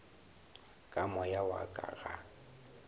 ka moya wa ka ga